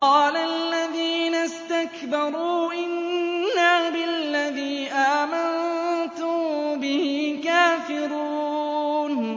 قَالَ الَّذِينَ اسْتَكْبَرُوا إِنَّا بِالَّذِي آمَنتُم بِهِ كَافِرُونَ